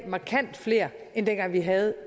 markant flere end dengang vi havde